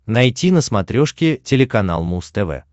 найти на смотрешке телеканал муз тв